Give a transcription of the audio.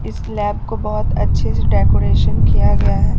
इस लैब को बहुत अच्छे से डेकोरेशन किया गया है।